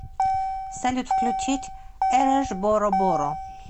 салют включить араш боро боро